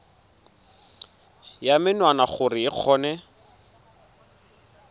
ya menwana gore o kgone